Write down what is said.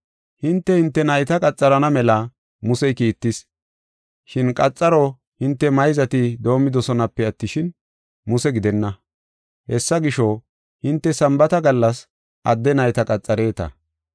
Hinte, hinte nayta qaxarana mela Musey kiittis. Shin qaxaro hinte mayzati doomidosonape attishin, Muse gidenna. Hessa gisho, hinte Sambaata gallas adde nayta qaxareeta.